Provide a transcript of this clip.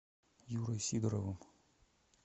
юрой сидоровым